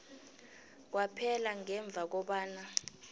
kwaphela ngemva kobana